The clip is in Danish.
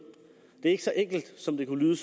det er ikke så enkelt som det kunne